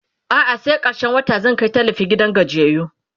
a'a sai karshen wata zan Kai tallafi gidan gajiyayyu